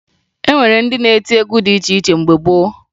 E nwere ndị na-eti egwu dị iche iche mgbe gboo